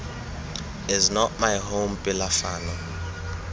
is not my home pelafalo